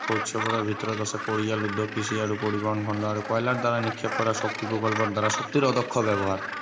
মুখ্য উৎসবোৰৰ ভিতৰত আছে পৰিয়াল উদ্যোগ কৃষি আৰু পৰিবহণ খণ্ড আৰু কয়লাৰ দ্বাৰা নিক্ষেপ কৰা শক্তি প্ৰকল্পৰ দ্বাৰা শক্তিৰ অধ্য়ক্ষ ব্য়ৱহাৰ